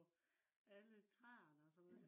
på alle træerne og sådan noget